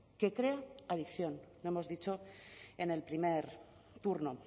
que crea la adicción lo hemos dicho en el primer turno